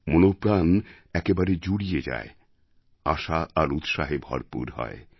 মনপ্রাণ একেবারে জুড়িয়ে যায় আশা আর উৎসাহে ভরপুর হয়